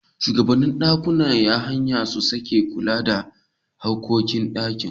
Shugabannin ɗakunan haya su suke kula da duk harkokin ɗakin